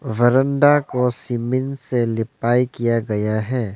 वरांडा को सीमेंट से लिपाई किया गया है।